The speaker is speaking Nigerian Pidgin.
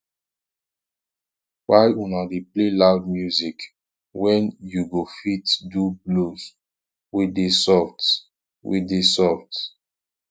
why una dey play loud music wen you go fit do blues wey dey soft wey dey soft